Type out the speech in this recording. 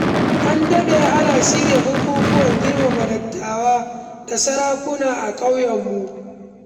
An daɗe ana shirya bukukkuwan girmama dattawa da sarakuna a ƙauyenmu.